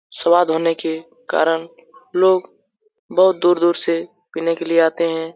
स्वाद होने के कारण लोग बहुत दूर-दूर से पिने के लिए आते है ।